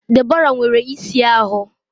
Deborah nwere isi ahụ